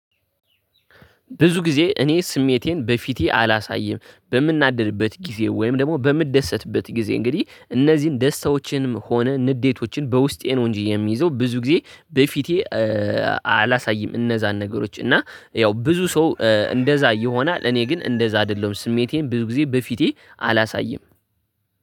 ብዙ ጊዜ እኔ ስሜቴን በፊቴ አላሳይም በምናደድበት ጊዜ ወይም ደግሞ በምደሰትበት ጊዜ እንግዲህ እነዚህን ደስታዎችንም ሆነ ንዴቶችን በውስጤ ነው እንጂ የሚይዘው ብዙ ጊዜ በፊቴ። አላሳይም እነዛን ነገሮች እና ያው ብዙ ሰው እንደዛ ይሆናል እኔ ግን እንደዛ አይደለሁም ስሜቴን ብዙ ጊዜ በፊቴ አላሳይም